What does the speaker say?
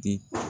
Di